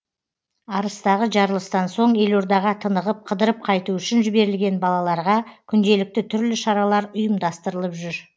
арыстағы жарылыстан соң елордаға тынығып қыдырып қайту үшін жіберілген балаларға күнделікті түрлі шаралар ұйымдастырылып жүр